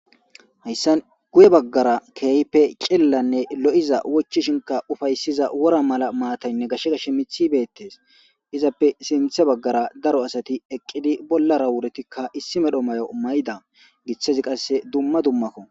hayssan guye baggara ke'hipe cillilanne lo'iza wochchishshiinkka ufayssiza wora mala maataynne gashe gashe miththi bettees izappe sinththe baggara daro asati eqqidi bollara wuretikka issi medhdho mayo mayda giththezi qasse dumma dummakko